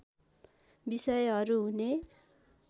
बिषयहरू हुने